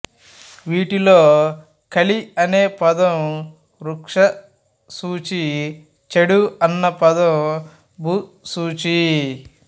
వీటిలో కలి అనే పదం వృక్షసూచి చేడు అన్న పదం భూసూచి